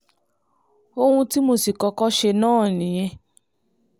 ohun tí mo sì kọ́kọ́ ṣe náà nìyẹn